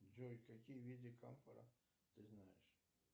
джой какие виды камфора ты знаешь